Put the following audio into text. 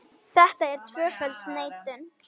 Þetta er tvöföld neitun.